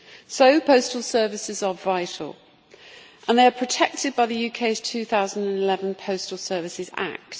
so postal services are vital and they are protected by the UK's 2011 Postal Services Act.